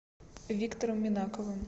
виктором минаковым